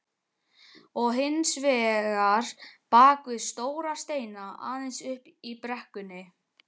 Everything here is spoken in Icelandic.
Og hins vegar bakvið stóra steina aðeins uppi í brekkunni.